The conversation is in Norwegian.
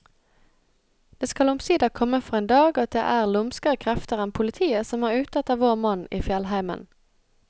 Det skal omsider komme for en dag at det er lumskere krefter enn politiet som er ute efter vår mann i fjellheimen.